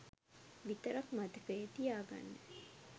විතරක් මතකයේ තියාගන්න.